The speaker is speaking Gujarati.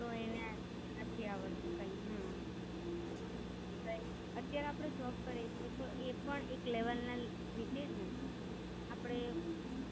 તો એને નથી આવડતું કઈ હા. અત્યારે આપડે Job કરીયે છીએ તો એ પણ એક લેવાં ના રીતે જ ને. આપડે